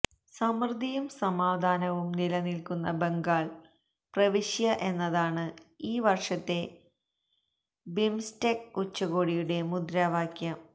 സമൃദ്ധിയും സമാധാനവും നിലനില്ക്കുന്ന ബംഗാള് പ്രവിശ്യ എന്നതാണ് ഈ വര്ഷത്തെ ബിംസ്റ്റെക് ഉച്ചകോടിയുടെ മുദ്രാവാക്യം